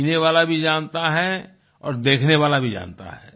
पीने वाला भी जानता है और देखने वाला भी जानता है